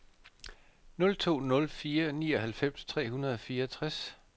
nul to nul fire nioghalvfems tre hundrede og fireogtres